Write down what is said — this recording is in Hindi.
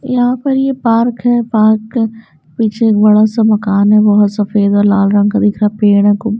यहां पर यह पार्क है पार्क पीछे एक बड़ा सा मकान है बहुत सफेद और लाल रंग का दिख रहा है पेड़ है कु--